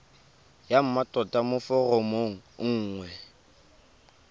ya mmatota mo foromong nngwe